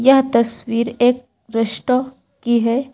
यह तस्वीर एक रेस्टो कि है।